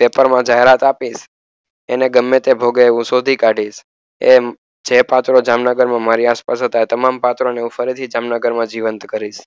paper માં જાહેરાત આપી એને ગમે તે ભોગે હું શોધી કાઢીશ એમ જે જામનગર માં પાત્ર હતા એવા હું જામનગરમાં ફરી પાત્ર ઉભા કરીશ